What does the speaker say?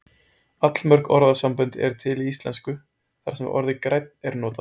allmörg orðasambönd eru til í íslensku þar sem orðið grænn er notað